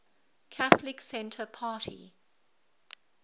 catholic centre party